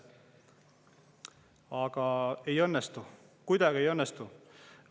Aga ei õnnestu, kuidagi ei õnnestu.